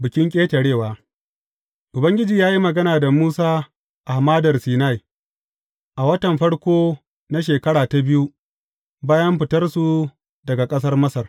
Bikin Ƙetarewa Ubangiji ya yi magana da Musa a Hamadar Sinai, a watan farko na shekara ta biyu bayan fitarsu daga ƙasar Masar.